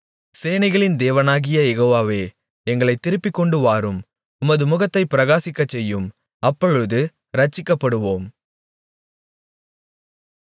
சேனைகளின் தேவனாகிய யெகோவாவே எங்களைத் திருப்பிக்கொண்டு வாரும் உமது முகத்தைப் பிரகாசிக்கச்செய்யும் அப்பொழுது இரட்சிக்கப்படுவோம்